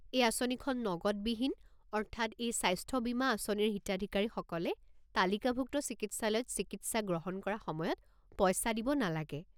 এই আঁচনিখন নগদবিহীন, অৰ্থাৎ এই স্বাস্থ্য বীমা আঁচনিৰ হিতাধিকাৰীসকলে তালিকাভুক্ত চিকিৎসালয়ত চিকিৎসা গ্ৰহণ কৰা সময়ত পইচা দিব নালাগে।